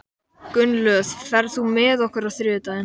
Gunnlöð, ferð þú með okkur á þriðjudaginn?